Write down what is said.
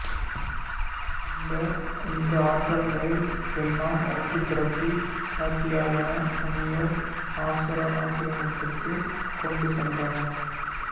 இந்த ஆற்றல்களை எல்லாம் ஒன்று திரட்டி காத்யாயன முனிவர் ஆசிரமத்திற்குக் கொண்டு சென்றனர்